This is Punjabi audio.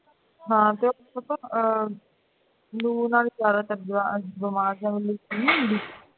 ਹਾਂ ਲਹੂ ਨਾਲ ਜਿਆਦਾ ਬੀਮਾਰ ਤੇ ਜਾਦਾ ਨਹੀਂ ਹੁੰਦੀ